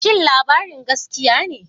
Shin labarin gaskiya ne?